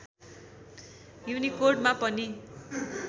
युनिकोडमा पनि